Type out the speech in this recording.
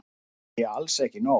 Það sé alls ekki nóg.